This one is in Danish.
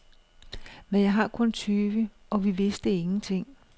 Men jeg var kun tyve, og vi vidste ingenting.